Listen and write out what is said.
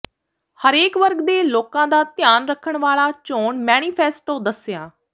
ਹਰੇਕ ਵਰਗ ਦੇ ਲੋਕਾਂ ਦਾ ਧਿਆਨ ਰੱਖਣ ਵਾਲਾ ਚੋਣ ਮੈਨੀਫ਼ੈਸਟੋ ਦੱਸਿਆ